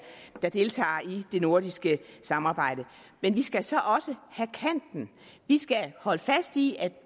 der deltager i det nordiske samarbejde men vi skal så også have kanten vi skal holde fast i at